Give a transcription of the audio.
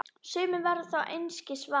Sumir verða þó einskis varir.